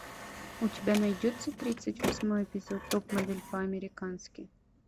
у тебя найдется тридцать восьмой эпизод топ модель по американски